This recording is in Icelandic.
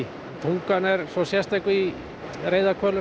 tungan er svo sérstök í